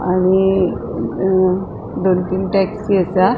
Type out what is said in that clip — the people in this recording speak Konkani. आणि अ दोन तीन टॅक्सी असा.